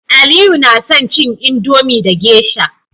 aliyu na son cin Indomie da geisha